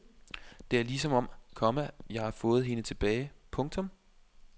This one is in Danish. Det er ligesom om, komma jeg har fået hende tilbage. punktum